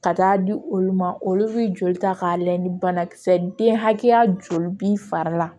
Ka taa di olu ma olu bɛ joli ta k'a layɛ ni banakisɛ den hakɛya joli b'i fari la